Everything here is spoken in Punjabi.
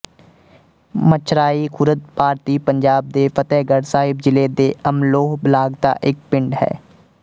ਮਛਰਾਈ ਖ਼ੁਰਦ ਭਾਰਤੀ ਪੰਜਾਬ ਦੇ ਫ਼ਤਹਿਗੜ੍ਹ ਸਾਹਿਬ ਜ਼ਿਲ੍ਹੇ ਦੇ ਅਮਲੋਹ ਬਲਾਕ ਦਾ ਇੱਕ ਪਿੰਡ ਹੈ